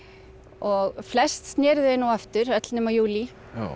og flest snéru þau nú aftur öll nema júlí